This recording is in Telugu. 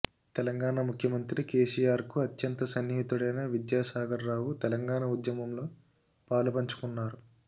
తెలంగాణ ముఖ్యమంత్రి కేసీఆర్కు అత్యంత సన్నిహితుడైన విద్యాసాగర్రావు తెలంగాణ ఉద్యమంలో పాలుపంచుకున్నారు